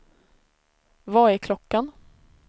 Vad är klockan